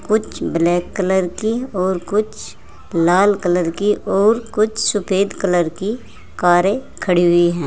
कुछ black colour की और कुछ लाल कलर की और कुछ सफेद कलर की कारें खड़ी हुई हैं।